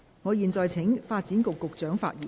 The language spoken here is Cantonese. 我現在請發展局局長發言。